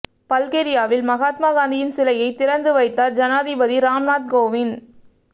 பல்கேரியாவில் மகாத்மா காந்தியின் சிலையை திறந்து வைத்தார் ஜனாதிபதி ராம்நாத் கோவிந்த்